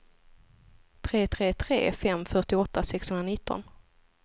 tre tre tre fem fyrtioåtta sexhundranitton